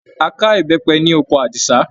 A ká ìbẹ́pẹ ní oko Àdìsá.